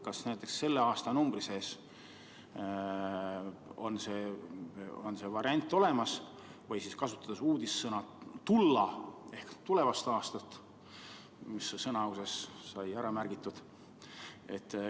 Kas näiteks selle aastanumbri sees on see variant olemas või siis, kasutades uudissõna, mis Sõnauses sai ära märgitud, tullu ehk tulevast aastast?